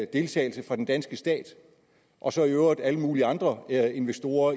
deltagelse fra den danske stat og så i øvrigt indgik alle mulige andre investorer